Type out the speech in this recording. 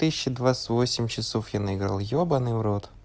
тысяча двадцать восемь часов я наиграл ебанный в рот